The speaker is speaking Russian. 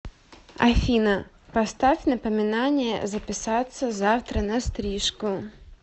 афина поставь напоминание записаться завтра на стрижку